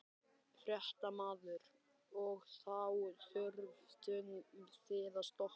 Fréttamaður: Og þá þurftuð þið að stoppa?